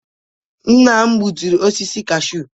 Nna m gbuturu osisi cashew.